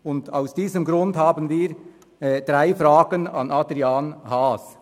Und aus diesem Grund haben wir drei Fragen an Adrian Haas.